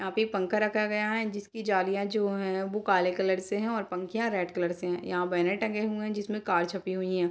यहाँ पे पंखा रखा गया है जिसकी जालियां जो है वो काले कलर से है और पंखिया रेड कलर से है यहाँ बैनर टंगे हुए हैं जिसमें कार छपी हुई हैं।